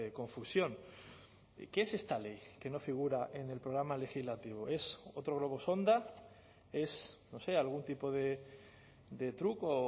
confusión qué es esta ley que no figura en el programa legislativo es otro globo sonda es no sé algún tipo de truco